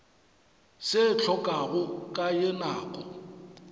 se hlokago ka ye nako